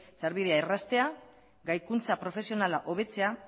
sarbidea erraztea gaikuntza profesionala hobetzea